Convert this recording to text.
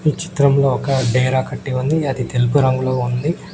ఈ చిత్రంలో ఒక డేహర కట్టి ఉంది అది తెలుపు రంగులో ఉంది.